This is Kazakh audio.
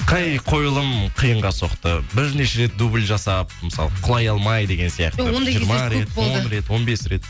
қай қойылым қиынға соқты бірнеше рет дубль жасап мысалы құлай алмай деген сияқты он бес рет